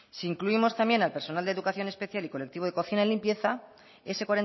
si incluimos también al personal de educación especial y colectivo de cocina y limpieza ese